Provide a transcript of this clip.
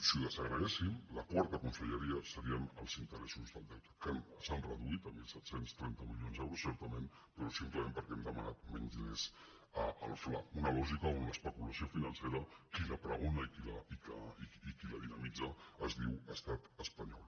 si ho desagreguéssim la quarta conselleria serien els interessos del deute que s’han re·duït a disset trenta milions d’euros certament però és simple·ment perquè hem demanat menys diners al fla una lògica on l’especulació financera qui la pregona i qui la dinamitza es diu estat espanyol